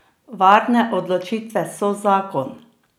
Varne odločitve so zakon!